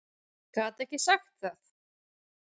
Gat ekki sagt það.